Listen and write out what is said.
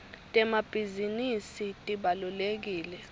temabhisinisi tibalulekile